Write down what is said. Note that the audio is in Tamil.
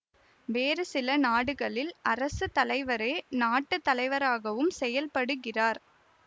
வேறு சில நாடுகளில் அரசு தலைவரே நாட்டு தலைவராகவும் செயல்படுகிறார்